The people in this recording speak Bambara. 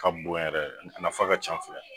Ka bon yɛrɛ, a nafa ka ca fɛnɛ